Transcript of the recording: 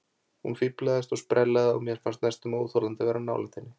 Hún fíflaðist og sprellaði og mér fannst næstum óþolandi að vera nálægt henni.